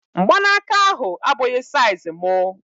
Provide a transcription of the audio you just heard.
Mgbanaka ahu abụghị saiz mụ